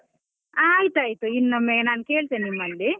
ಆಯ್ತಾಯ್ತಾಯ್ತು, ಇನ್ನೊಮ್ಮೆ ನಾನ್ ಕೇಳ್ತೇನೆ ನಿಮ್ಮಲಿ.